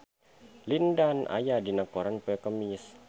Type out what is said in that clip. Lin Dan aya dina koran poe Kemis